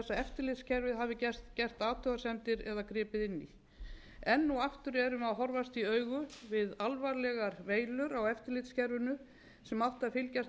eftirlitskerfið hafi gert athugasemdir eða gripið inn í enn og aftur erum við að horfast í augu við alvarlegar veilur á eftirlitskerfinu sem átti að fylgjast með